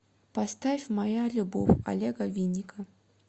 поставь моя любов олега винника